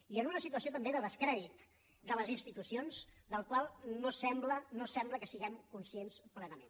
i en una situació també de descrèdit de les institucions del qual no sembla que siguem conscients plenament